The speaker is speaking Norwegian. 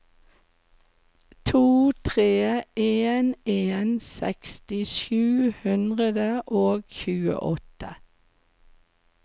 to tre en en seksti sju hundre og tjueåtte